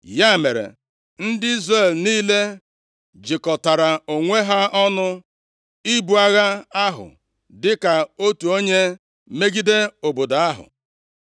Ya mere, ndị Izrel niile jikọtara onwe ha ọnụ ibu agha ahụ dịka otu onye, megide obodo ahụ.